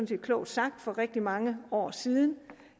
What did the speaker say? set klogt sagt for rigtig mange år siden